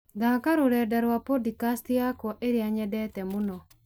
thaaka rũrenda rwa podikasti yakwa ĩrĩa nyendete mũno